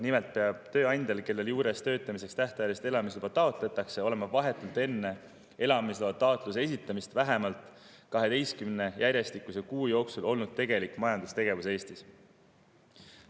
Nimelt peab tööandjal, kelle juures töötamiseks tähtajalist elamisluba taotletakse, olema olnud vahetult enne elamisloa taotluse esitamist vähemalt 12 järjestikuse kuu jooksul tegelik majandustegevus Eestis.